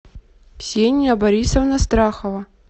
ксения борисовна страхова